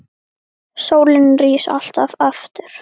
Sólin rís alltaf aftur.